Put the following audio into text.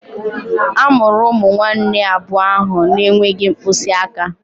A mụrụ ụmụnne abụọ ahụ na-enweghị mkpịsị aka